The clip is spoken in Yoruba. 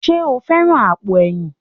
Ṣé o fẹ́ran àpò ẹ̀yìn?